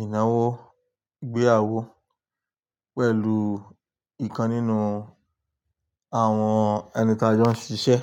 ìnáwó ìgbéyàwó pẹ̀lú ìkan nínú àwọn ẹni tí a jọ ń ṣiṣẹ́.